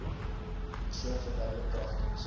persoon verduidelik kragtens